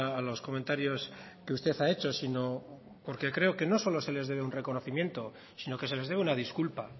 a los comentarios que usted ha hecho sino porque creo que no solo se les debe un reconocimiento sino que se les debe una disculpa